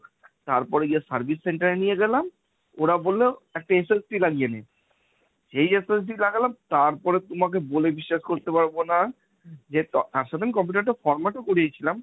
তারপরে গিয়ে service center এ নিয়ে গেলাম, ওরা বলল একটা SST লাগিয়ে নিন, যেই SST লাগালাম তারপর তোমাকে বলে বিশ্বাস করাতে পারব না, আর সেদিন computer টা format ও করিয়েছিলাম,